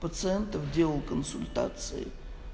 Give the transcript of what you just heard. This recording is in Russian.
пациентов делал консультации